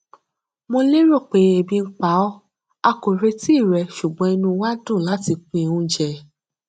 mo lérò pe ebi ń pa ọ a kò retí rẹ ṣùgbọn inú wa dùn láti pín oúnjẹ